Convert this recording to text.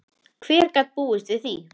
Hver gat búist við því?